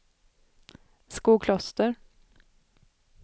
Skokloster